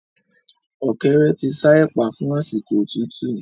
Ọ̀kẹ́rẹ́ ti ṣa ẹ̀pà fún àsìkò òtútú